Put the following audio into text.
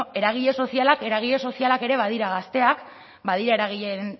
bueno eragile sozialak eragile sozialak ere badira gazteak badira